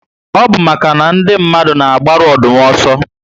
Ọ bu màkà na ndị mmadụ na agbaru Ọdụm ọsọ